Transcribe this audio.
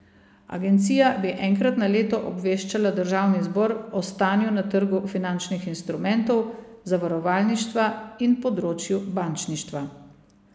Agencija bi enkrat na leto obveščala državni zbor o stanju na trgu finančnih instrumentov, zavarovalništva in področju bančništva.